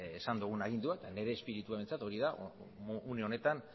esan duguna aginduan eta nire espiritua behintzat hori da une honetan